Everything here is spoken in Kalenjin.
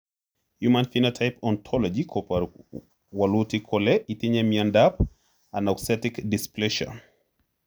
Human Phenotype Ontology koporu wolutik kole itinye Miondap Anauxetic dysplasia.